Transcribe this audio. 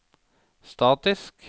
statisk